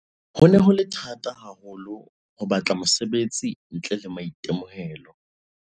"Ho ne ho le thata haho lo ho batla mosebetsi ntle le maitemohelo."